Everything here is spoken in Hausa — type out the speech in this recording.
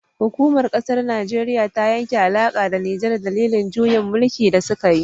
Hukumar kasar najeriya ta yanke alaka da nijar dalilin juyin mulki da sukayi